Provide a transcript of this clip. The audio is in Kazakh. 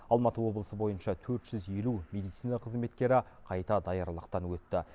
алматы облысы бойынша төрт жүз елу медицина қызметкері қайта даярлықтан өтті